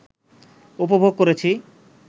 উপভোগ করেছি